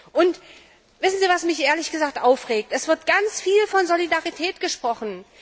Und wissen Sie, was mich ehrlich gesagt aufregt Es wird ganz viel von Solidarität gesprochen.